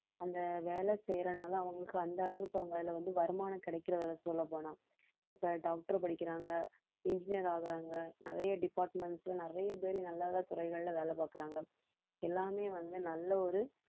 அந்த வேலை செய்யறதுனால அவங்களுக்கு அந்த அளவுக்கு அவங்க அதில வந்து வருமானம் கிடைக்கறதில்ல சொல்லப்போனா இப்ப doctor படிக்கிறாங்க engineer ஆகறாங்க நிறைய departments ல நிறைய பேரு நல்ல நல்ல துறைகள்ல வேலை பாக்கறாங்க எல்லாமே வந்து நல்ல ஒரு